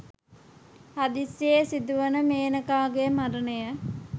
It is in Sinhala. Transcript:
හදිසියේ සිදුවන මේනකාගේ මරණය